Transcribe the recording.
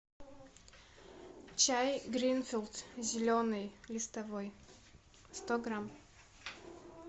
чай гринфилд зеленый листовой сто грамм